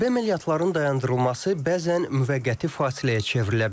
Hərbi əməliyyatların dayandırılması bəzən müvəqqəti fasiləyə çevrilə bilər.